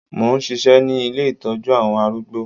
Mò ń ṣisẹ́ ní ilé Ìtọ́jú àwọn arúgbó.